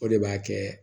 O de b'a kɛ